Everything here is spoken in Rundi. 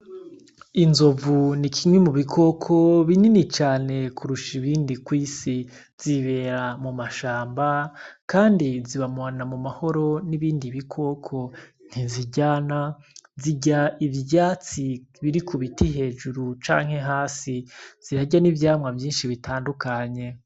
Inzovu ni kimwe mu bikoko binini cane kurusha ibindi kwisi. Zibera mu mashamba kandi zibana mu mahoro nibindi bikoko ,ntiziryana zirya ivyatsi biri kubiti hejuru canke hasi ,birarya nivyamwa vyinshi bitandukanye.